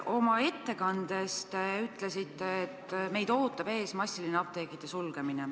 Oma ettekandes te ütlesite, et meid ootab ees massiline apteekide sulgemine.